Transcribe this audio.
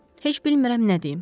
Heç bilmirəm nə deyim.